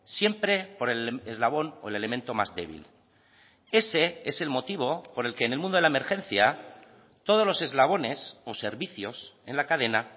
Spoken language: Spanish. siempre por el eslabón o el elemento más débil ese es el motivo por el que en el mundo de la emergencia todos los eslabones o servicios en la cadena